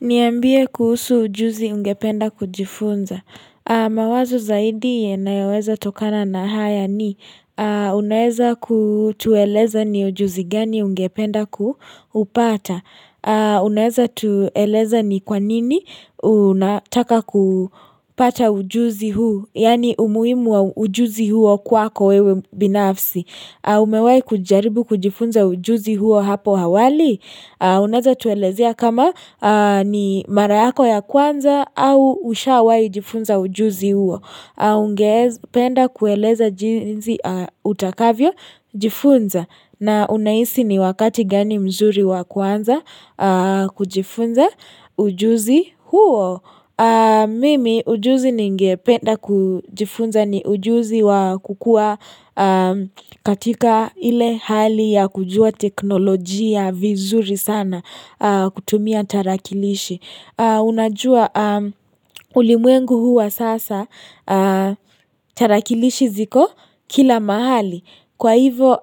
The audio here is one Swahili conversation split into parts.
Niambie kuhusu ujuzi ungependa kujifunza. Mawazo zaidi yanayoyaweza tokana na haya ni. Unaweza kutueleza ni ujuzi gani ungependa kuupata. Unaweza tueleza ni kwanini unataka kupata ujuzi huu. Yani umuhimu wa ujuzi huo kwako wewe binafsi. Umewahi kujaribu kujifunza ujuzi huo hapo awali. Unaweza tuelezea kama ni mara yako ya kwanza au ushawahi jifunza ujuzi huo. Ungez penda kueleza jinsi utakavyo jifunza na unahisi ni wakati gani mzuri wa kuanza kujifunza ujuzi huo. Mimi ujuzi ninge penda kujifunza ni ujuzi wa kukua katika ile hali ya kujua teknolojia vizuri sana kutumia tarakilishi. Unajua ulimwengu huu wa sasa tarakilishi ziko kila mahali. Kwa hivo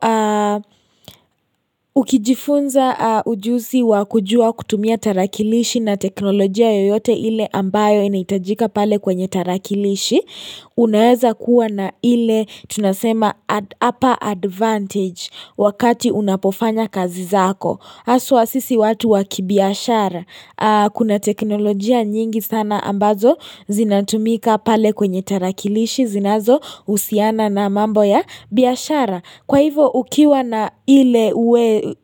ukijifunza ujuzi wakujua kutumia tarakilishi na teknolojia yoyote ile ambayo inahitajika pale kwenye tarakilishi Unaweza kuwa na ile tunasema upper advantage wakati unapofanya kazi zako haswa sisi watu wakibiashara kuna teknolojia nyingi sana ambazo zinatumika pale kwenye tarakilishi zinazohusiana na mambo ya biashara Kwa hivo ukiwa na ile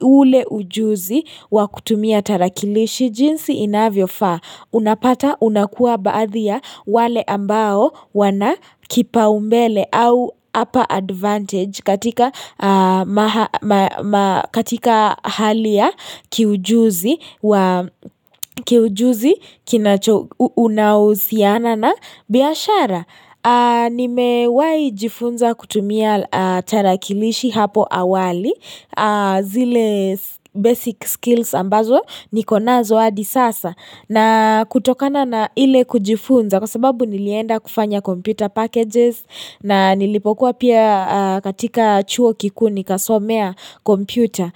ule ujuzi wa kutumia tarakilishi jinsi inavyofaa unapata unakuwa baadhi ya wale ambao wana kipaumbele au upper advantage katika hali ya kiujuzi kinacho unaohusiana na biashara. Nimewahi jifunza kutumia tarakilishi hapo awali zile basic skills ambazo nikonazo hadi sasa na kutokana na ile kujifunza kwa sababu nilienda kufanya computer packages na nilipokuwa pia katika chuo kikuu nikasomea computer.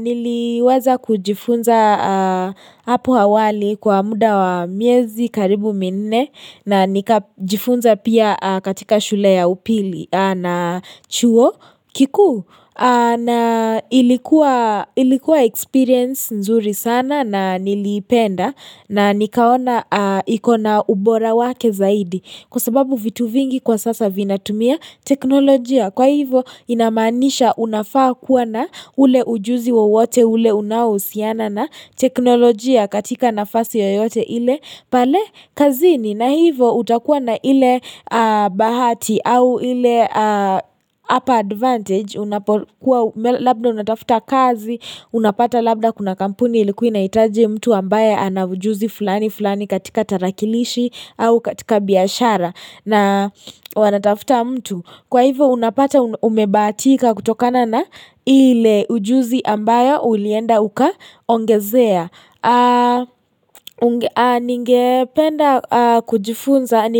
Niliweza kujifunza hapo awali kwa muda wa miezi karibu minne na nikajifunza pia katika shule ya upili na chuo kikuu na ilikuwa experience nzuri sana na niliipenda na nikaona ikona ubora wake zaidi. Kwa sababu vitu vingi kwa sasa vinatumia teknolojia kwa hivyo inamaanisha unafaa kuwa na ule ujuzi wowote ule unaohusiana na teknolojia katika nafasi yoyote ile pale kazini na hivyo utakuwa na ile bahati au ile upper advantage labda unatafuta kazi unapata labda kuna kampuni ilikuwa inahitaji mtu ambaye ana ujuzi fulani fulani katika tarakilishi au katika biashara na wanatafta mtu kwa hivyo unapata umebahatika kutokana na ile ujuzi ambayo ulienda uka ongezea ningependa kujifunza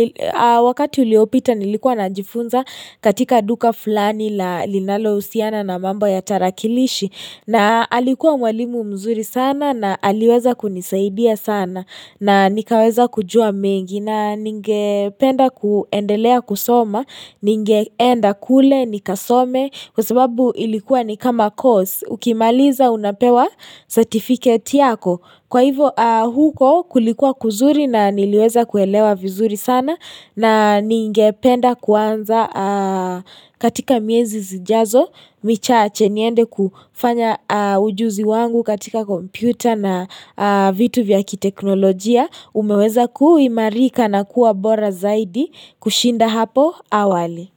wakati uliopita nilikuwa najifunza katika duka fulani na linalohusiana na mambo ya tarakilishi na alikuwa mwalimu mzuri sana na aliweza kunisaidia sana na nikaweza kujua mingi na ningependa kuendelea kusoma, ningeenda kule, nika some, kwa sababu ilikuwa ni kama course, ukimaliza unapewa certificate yako. Kwa hivo huko kulikuwa kuzuri na niliweza kuelewa vizuri sana na ningependa kuanza katika miezi zijazo, micha che niende kufanya ujuzi wangu katika kompyuta na vitu vya kiteknolojia. Umeweza kuimarika na kuwa bora zaidi kushinda hapo awali.